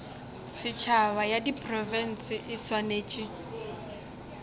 setšhaba ya diprofense e swanetše